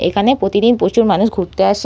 এইখানে প্রতিদিন প্রচুর মানুষ ঘুরতে আসে।